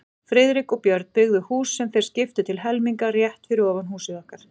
Friðrik og Björn, byggðu hús, sem þeir skiptu til helminga, rétt fyrir ofan húsið okkar.